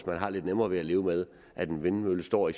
man har lidt nemmere ved at leve med at en vindmølle står i